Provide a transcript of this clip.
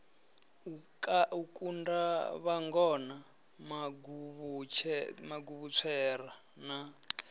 a kunda vhangona maguvhutswera na